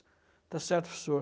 Está certo, professor?